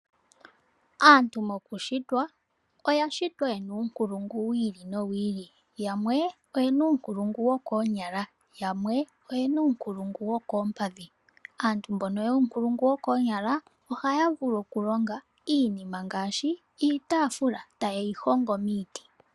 Aantu moku shitwa, oya shitwa yena uunkulungu wiili nowiili. Yamwe oyena uunkulungu wokoo nyala, yamwe oyena uunkulungu wokoo mpadhi. Aantu mbono yuunkulungu wokoo nyala ohaya vulu oku longa iinima, ngaashi iitaafula ta ye yi hongo miiti.